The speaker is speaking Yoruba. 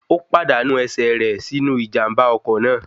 Ó pàdánù ẹsẹ̀ rẹ̀ sínú Ìjàm̀bá ọkọ̀ náà